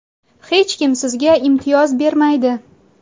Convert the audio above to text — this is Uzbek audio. Hech kim sizga imtiyoz bermaydi.